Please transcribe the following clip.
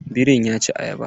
Biri ya ci ayaba.